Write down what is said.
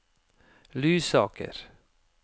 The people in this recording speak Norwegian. Lysaker